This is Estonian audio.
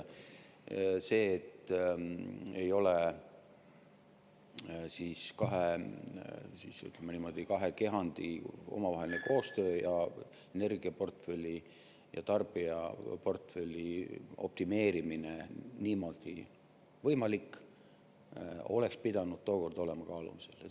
See, et ei ole, ütleme niimoodi, kahe kehandi omavaheline koostöö ja energiaportfelli ja tarbijaportfelli optimeerimine niimoodi võimalik, oleks pidanud tookord olema kaalumisel.